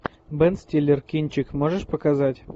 бен стиллер кинчик можешь показать